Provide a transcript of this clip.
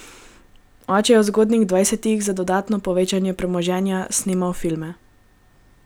Oče je v zgodnjih dvajsetih, za dodatno povečanje premoženja, snemal filme.